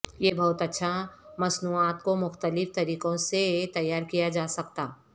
یہ بہت اچھا مصنوعات کو مختلف طریقوں سے تیار کیا جا سکتا